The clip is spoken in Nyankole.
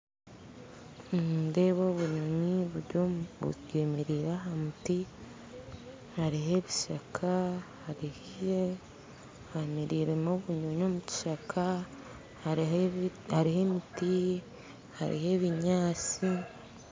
Nindeeba obunyonyi buri omu bwemereire aha muti, hariho ebishaka hariho hemereiremu obunyonyi omu kishaka hariho hariho emiti hariho ebinyaatsi